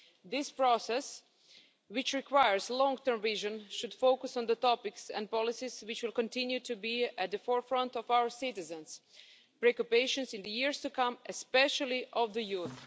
This process, which requires long term vision, should focus on the topics and policies that will continue to be at the forefront of our citizens' preoccupations in the years to come, especially of the youth.